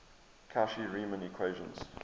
cauchy riemann equations